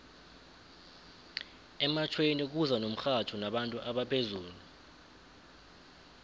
ematjhweni kuza nomxhatjho nabantu abaphezulu